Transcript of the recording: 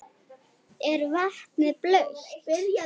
Er vatnið blautt?